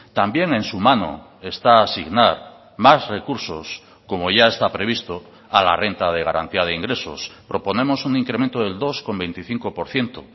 también en su mano está asignar más recursos como ya está previsto a la renta de garantía de ingresos proponemos un incremento del dos coma veinticinco por ciento